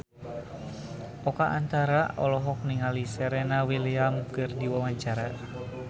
Oka Antara olohok ningali Serena Williams keur diwawancara